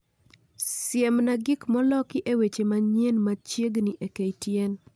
Siemna gik moloki e weche manyien machiegni e ktn